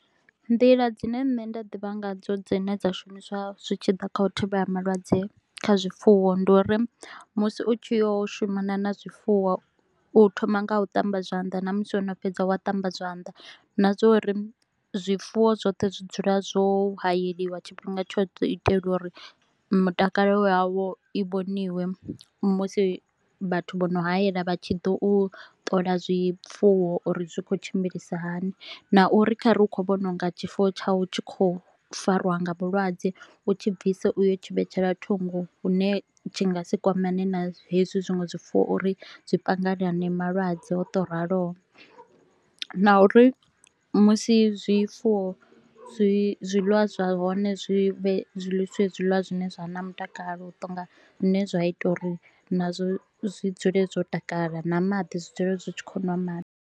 Nḓila dzine nṋe nda ḓivha nga dzo dzine dza shumiswa zwi tshi ḓa kha u thivhela malwadze kha zwifuwo ndi uri musi u tshi yo shumana na zwifuwo u thoma nga u ṱamba zwanḓa na musi wo no fhedza wa ṱamba zwanḓa, na zwo uri zwifuwo zwoṱhe zwi dzula zwo hayeliwa tshifhinga tshoṱhe u itela uri mutakalo wayo i vhoniwe musi vhathu vho no hayela vha tshi ḓo u ṱola zwifuwo uri zwi khou tshimbilisa hani, na uri khare u kho vhono unga tshifuwo tsha u tshi kho farwa nga vhulwadze u tshi bvisa uyo tshi vhetshela thungo hune nga si kwamane na hezwi zwinwe zwifuwo uri zwi panganane malwadze o to raloho. Na uri musi zwifuwo zwi zwiḽiwa zwa hone zwi vhe zwi ḽisiwe zwiḽiwa zwi ne zwa vha na mutakalo u tonga zwine zwa ita uri nazwo zwi dzule zwo takala na maḓi zwi dzule zwi tshi khou ṅwa maḓi.